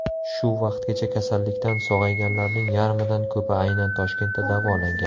Shu vaqtgacha kasallikdan sog‘ayganlarning yarmidan ko‘pi aynan Toshkentda davolangan.